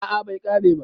a a Bai kare ba